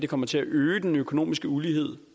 kommer til at øge den økonomiske ulighed